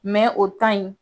o in.